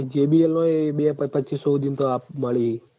પહી JBL નોય બે પચીસો હુંઘીમ આ તો મળી હી